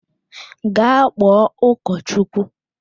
Gaa kpọọ ụkọchukwu!